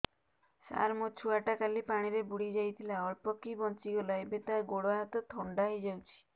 ସାର ମୋ ଛୁଆ ଟା କାଲି ପାଣି ରେ ବୁଡି ଯାଇଥିଲା ଅଳ୍ପ କି ବଞ୍ଚି ଗଲା ଏବେ ତା ଗୋଡ଼ ହାତ ଥଣ୍ଡା ହେଇଯାଉଛି